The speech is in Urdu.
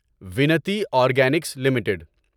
Vinati organics limited